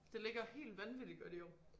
Det ligger helt vanvittigt godt i år